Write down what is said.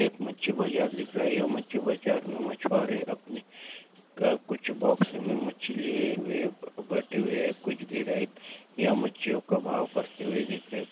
एक मच्छी बाजार दिख रहा है यहाँ मच्छी बाजार में मच्बारे अपने कुछ बॉक्स में मछली बटी हुई है कुछ गिरा है या मछियो का भाव करते हुए दिख रहे है|